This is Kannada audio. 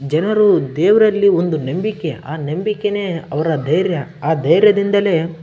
ಜನರು ದೇವ್ರಲ್ಲಿ ಒಂದು ನಂಬಿಕೆ ಆದ್ರೆ ಆ ನಂಬಿಕೆನೇ ಅವ್ರ ಧೈರ್ಯ ಆ ಧೈರ್ಯದಿಂದನೇ --